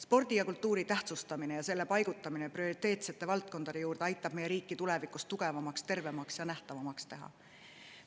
Spordi ja kultuuri tähtsustamine ja nende paigutamine prioriteetsete valdkondade hulka aitab meie riiki tulevikus tugevamaks, tervemaks ja nähtavamaks teha.